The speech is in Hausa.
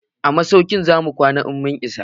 A masauki zamu kwana in mun isa.